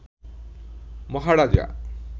মহারাজা